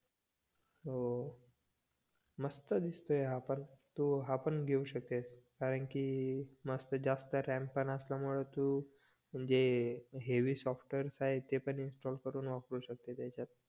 हो मस्त दिसते हा पण तू हा पण घेवू शकतेस कारण कि मस्त जास्त RAM पण असल्यामुळे तू म्हणजे हेवी सॉफ्टवेअर आहे ते इन्स्टॉल करून वापरू शकतेस याच्यात